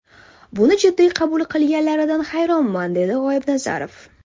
Buni jiddiy qabul qilganlaridan hayronman”, dedi G‘oibnazarov.